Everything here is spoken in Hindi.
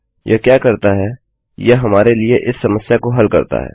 यह क्या करता हैयह हमारे लिए इस समस्या को हल करता है